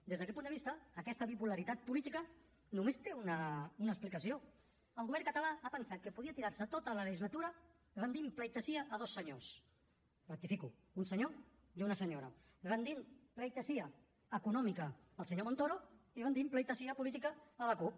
des d’aquest punt de vista aquesta bipolaritat política només té una explicació el govern català ha pensat que podia tirar se tota la legislatura rendint pleitesía a dos senyors ho rectifico un senyor i una senyora rendint pleitesía econòmica al senyor montoro i rendint pleitesía política a la cup